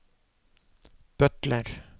butler